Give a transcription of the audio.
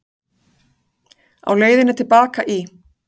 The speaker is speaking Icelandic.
Á leiðinni til baka í